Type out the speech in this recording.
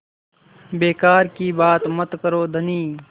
बेकार की बात मत करो धनी